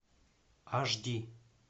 аш ди